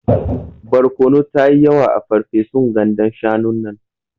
Barkono tayi yawa a ferfesun gandan shanun nan.